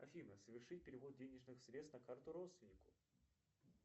афина совершить перевод денежных средств на карту родственнику